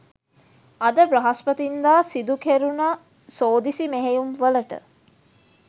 අද බ්‍රහස්පතින්දා සිදු කෙරුණ සෝදිසි මෙහෙයුම් වලට